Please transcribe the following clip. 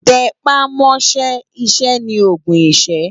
Tè pá mò ṣè iṣè ni ógùn iṣë